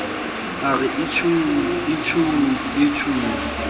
a re itjhuu itjhuu itjhuu